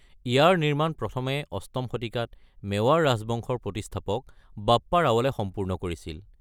ইয়াৰ নিৰ্মাণ প্ৰথমে অষ্টম শতিকাত মেৱাৰ ৰাজবংশৰ প্ৰতিষ্ঠাপক বাপ্পা ৰাৱলে সম্পূৰ্ণ কৰিছিল।